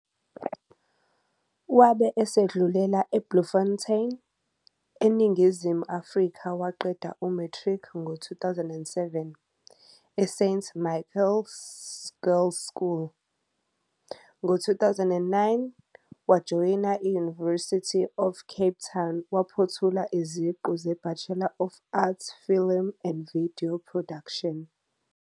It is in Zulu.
Wabe esedlulela eBloemfontein, eNingizimu Afrika waqeda uMatric ngo-2007, eSt Michael Girls School. Ngo-2009, wajoyina i-University of Cape Town waphothula iziqu zeBachelor of Arts Film and Video Production.